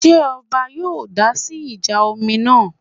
Ṣé ọba yóò dásí ìjà omi náà?